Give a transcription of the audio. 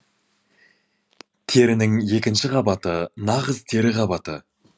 терінің екінші қабаты нағыз тері қабаты